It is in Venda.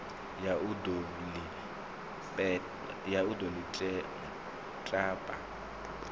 ya u ḓo ḽi tapa